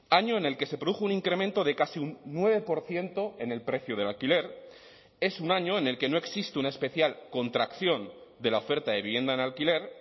año en el que se produjo un incremento de casi un nueve por ciento en el precio del alquiler es un año en el que no existe una especial contracción de la oferta de vivienda en alquiler